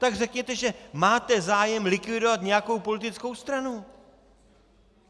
Tak řekněte, že máte zájem likvidovat nějakou politickou stranu.